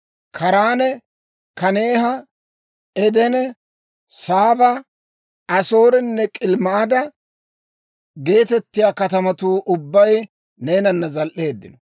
Kaaraane, Kaneeha, Edene, Saaba, Asoorenne Kilimmaada geetettiyaa katamatuu ubbay neenana zal"eeddino.